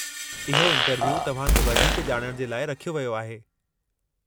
इहो इंटरव्यू तव्हां खे वधीक ॼाणण जे लाइ रखियो वियो आहे।